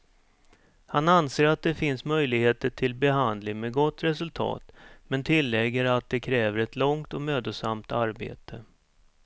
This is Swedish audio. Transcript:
Han anser att det finns möjligheter till behandling med gott resultat, men tillägger att det kräver ett långt och mödosamt arbete.